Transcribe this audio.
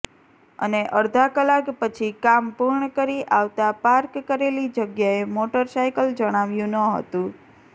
અને અડધા કલાક પછી કામ પુર્ણ કરી આવતા પાર્ક કરેલી જગ્યાએ મોટરસાયકલ જણાવ્યું ન હતું